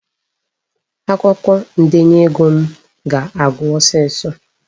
Akwụkwọ ndenye ego m ga-agwụ ọsọ ọsọ.